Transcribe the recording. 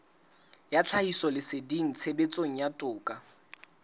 ya tlhahisoleseding tshebetsong ya toka